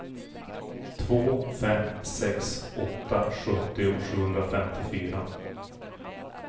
två fem sex åtta sjuttio sjuhundrafemtiofyra